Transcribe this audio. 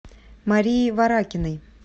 марии варакиной